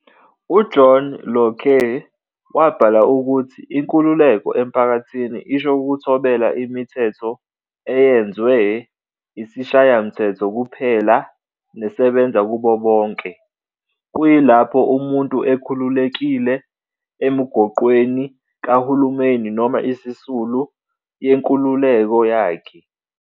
UJohn Locke wabhala ukuthi inkululeko emphakathini isho ukuthobela imithetho eyenzwe isishayamthetho kuphela nesebenza kubo bonke, kuyilaphi umuntu ekhululekile emigoqweni kahulumeni noma esisulu yenkululeko yakhe.